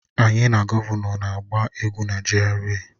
Anyị na gọvanọ na-agba egwú na GRA